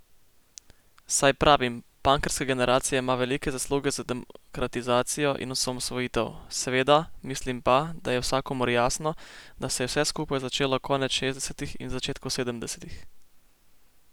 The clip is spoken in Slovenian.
Saj pravim, punkerska generacija ima velike zasluge za demokratizacijo in osamosvojitev, seveda, mislim pa, da je vsakomur jasno, da se je vse skupaj začelo konec šestdesetih in v začetku sedemdesetih.